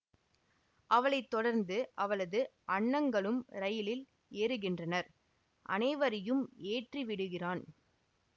அவளை தொடர்ந்து அவளது அண்ணங்களும் ரயிலில் ஏறுகின்றனர் அனைவரையும் ஏற்றி விடுகிறான்